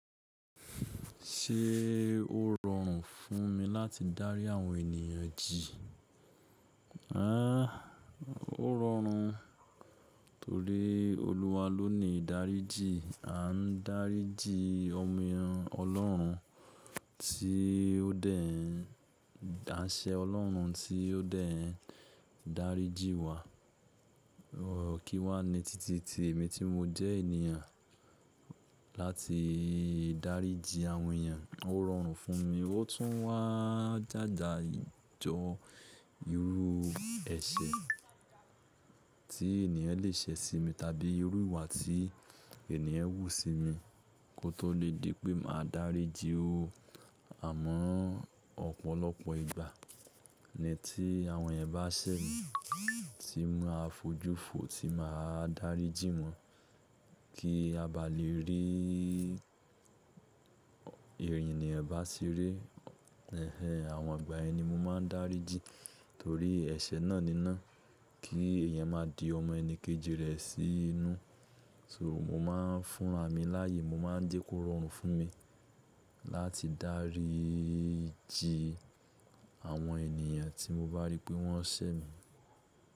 Ṣé ó rọrùn fún mi láti dárí àwọn ènìyàn jì? Rárá, ó rọrùn torí Olúwa ló ni ìdáríjì. A ń dáríjì ọmọ ẹ̀yàn Ọlọ́run tí ó dẹ̀ n áṣẹ Ọlọ́run tí ó dẹ̀ ń dáríjì wá. Kí wá ni titi tí èmi tí mo jẹ́ ènìyàn láti dáríjì àwọn èyàn. Ó rọrùn fún mi, ó tún wá jája ìjọ irú ẹ̀ṣẹ̀ tí ènìyàn le ṣe sí mi, tàbí irú ìwà tí ènìyàn wù sí mi kó tó lè dí pé màá dáríjì ó. Àmọ́ ọ̀pọ̀lọpọ̀ ìgbà ni tí àwọn ẹ̀eyan bá ṣẹ̀ mí tí máa fojú fo, tí màá dáríjì wọ́n kí a bá lè rí Eniyan ẹ̀ bá ṣeré. Ẹ̀hẹ́n àwọn ìgbà yẹn ni mo máa ń dáríjì torí ẹ̀ṣẹ̀ náà níná kí èèyàn máa di ọmọ ẹni kejì rẹ̀ sí inú. So mo máa ń fún ràmì láàyè, mo máa ń jẹ́ kó rọrùn fún mi láti dáríjì àwọn ènìyàn tí mo bá rí pé wọ́n ṣẹ̀ mí.